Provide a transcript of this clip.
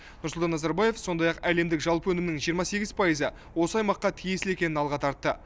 нұрсұлтан назарбаев сондай ақ әлемдік жалпы өнімнің жиырма сегіз пайызы осы аймаққа тиесілі екенін алға тартты